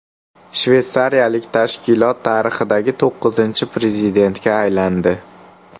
Shveysariyalik tashkilot tarixidagi to‘qqizinchi prezidentga aylandi.